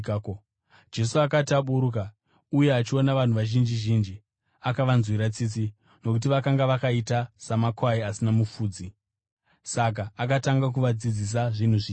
Jesu akati aburuka uye achiona vanhu vazhinji zhinji, akavanzwira tsitsi, nokuti vakanga vakaita samakwai asina mufudzi. Saka akatanga kuvadzidzisa zvinhu zvizhinji.